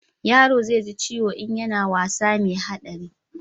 yaro zai ji ciwo in yana wasa mai haɗari